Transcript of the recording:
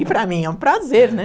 E para mim é um prazer, né?